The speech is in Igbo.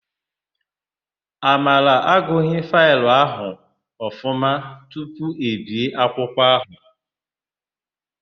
Amara agụghị faịlụ ahụ ọfụma tupu e bie akwụkwọ áhụ̀.